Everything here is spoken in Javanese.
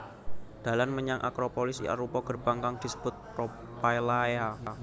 Dalan menyang Acropolis arupa gerbang kang disebut Propylaea